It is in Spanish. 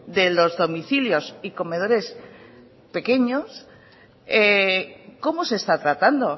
de los domicilios y comedores pequeños cómo se está tratando